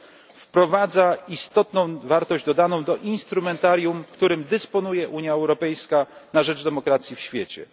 w sprawie powołania EED. Wprowadza istotną wartość dodaną do instrumentarium, którym dysponuje Unia Europejska na rzecz demokracji w świecie.